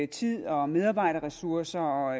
tid og medarbejderressourcer